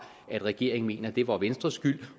at regeringen mener at det var venstres skyld